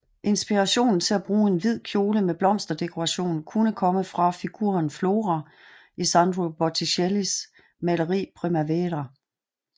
Inspirationen til at bruge en hvid kjole med blomsterdekoration kunne komme fra figuren Flora i Sandro Botticellis maleri Primavera